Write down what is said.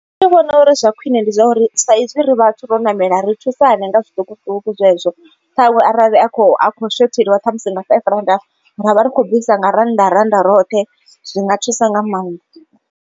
Nṋe ndi vhona uri zwa khwine ndi zwa uri saizwi ri vhathu ro ṋamela ri thusane nga zwiṱukuṱuku zwezwo. Ṱhaṅwe arali a kho a khou shothelwa ṱhamusi nga five rannda ra vha ri khou bvisa nga rannda rannda roṱhe zwinga thusa nga maanḓa.